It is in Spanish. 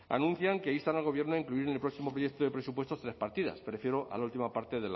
anuncian que instan al gobierno a incluir en el próximo proyecto de presupuestos tres partidas me refiero a la última parte